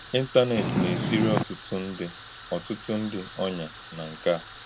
Ị̀ntànètì na-esìrì ọ̀tùtù ndí ọ̀tùtù ndí ònyá nà nke a.